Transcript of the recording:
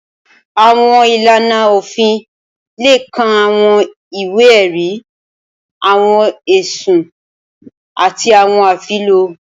Awọn ilana ofin le kan awọn iwe-ẹri, awọn ẹsun, ati awọn afilọ.